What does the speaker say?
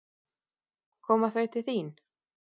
Koma þau til þín?